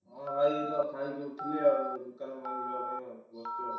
ହଁ ଭାଇ ଏ ତ ଖାଇକି ଉଠିଲି ଆଉ ଦୋକାନ ପାଇଁ ଯିବା ପାଇଁ ବସୁଚୁ ଆଉ।